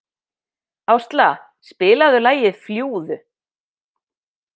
Ásla, spilaðu lagið „Fljúgðu“.